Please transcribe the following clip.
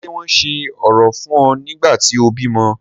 Ṣé wọn ṣe orò fún ọ nígbà tí o bímọ?